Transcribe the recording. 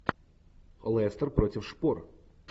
лестер против шпор